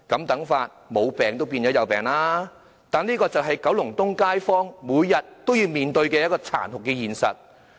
但是，這便是九龍東街坊每天也要面對的殘酷現實。